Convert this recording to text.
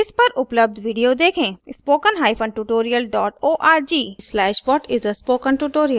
इस पर उपलब्ध video देखें